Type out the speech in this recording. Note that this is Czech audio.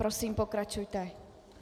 Prosím, pokračujte.